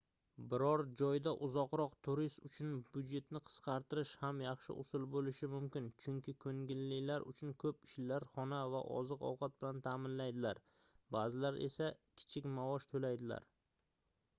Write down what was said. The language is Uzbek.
biror joyda uzoqroq turis uchun byudjetni qisqartirish ham yaxshi usul boʻlishi mumkin chunki koʻngillilar uchun koʻp ishlar xona va oziq-ovqat bilan taʼmilaydilar baʼzilari esa kichik maosh toʻlaydilar